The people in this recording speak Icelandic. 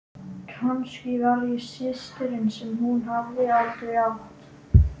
Kannski var ég systirin sem hún hafði aldrei átt.